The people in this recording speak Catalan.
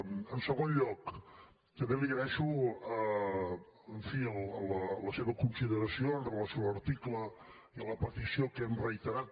en segon lloc també li agraeixo en fi la seva consideració amb relació a l’article i la petició que hem reiterat